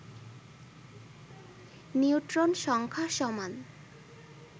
neutron সংখ্যা সমান